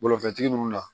Balo fɛntigi ninnu na